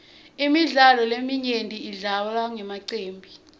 imidlalo leminyenti idlalwa ngemacembu